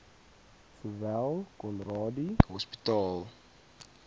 sowel conradie hospitaal